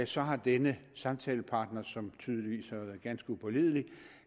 så har denne samtalepartner som tydeligvis har været ganske upålidelig